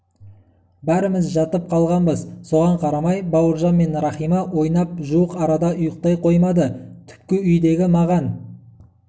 бәріміз жатып қалғанбыз соған қарамай бауыржан мен рахима ойнап жуық арада ұйықтай қоймады түпкі үйдегі маған